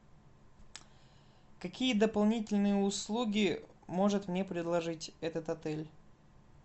какие дополнительные услуги может мне предложить этот отель